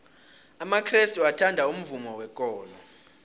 amakrestu athanda umvumo wekolo